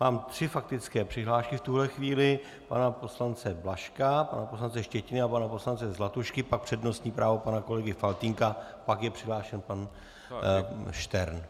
Mám tři faktické přihlášky, v tuto chvíli pana poslance Blažka, pana poslance Štětiny a pana poslance Zlatušky, pak přednostní právo pana kolegy Faltýnka, pak je přihlášen pan Štern.